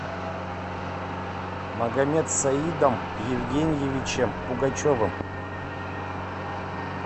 магомедсаидом евгеньевичем пугачевым